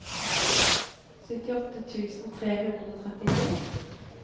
syttiåtte tusen tre hundre og trettito